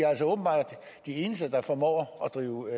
eneste der formår at drive